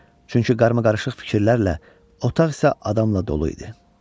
Çünki qarmaqarışıq fikirlərlə otaq isə adamla dolu idi.